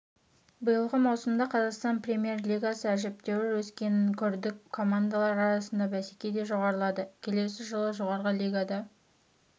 биылғы маусымда қазақстан премьер-лигасы әжептәуір өскенін көрдік командалар арасындағы бәсеке де жоғарылады келесі жылы жоғары лигада